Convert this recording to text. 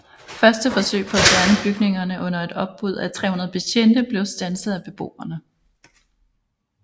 Første forsøg på at fjerne bygningerne under et opbud af 300 betjente blev standset af beboerne